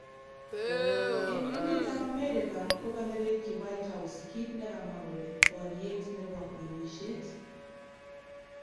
Eng emetab America ko kanerekyi White House kit ne kamwa kole "boriet nebo ng'emisiet ".